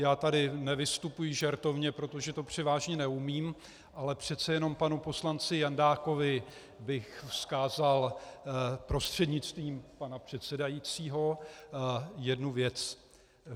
Já tady nevystupuji žertovně, protože to převážně neumím, ale přece jenom panu poslanci Jandákovi bych vzkázal prostřednictvím pana předsedajícího jednu věc.